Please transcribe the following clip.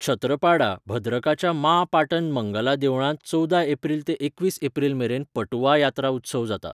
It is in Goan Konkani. छत्रपाडा, भद्रकाच्या माँ पाटन मंगला देवळांत चवदा एप्रिल ते एकवीस एप्रिलमेरेन पटुआ यात्रा उत्सव जाता.